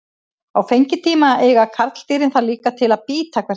Á fengitíma eiga karldýrin það líka til að bíta hvert annað.